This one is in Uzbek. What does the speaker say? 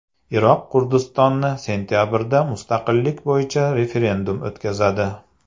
Iroq Kurdistoni sentabrda mustaqillik bo‘yicha referendum o‘tkazadi.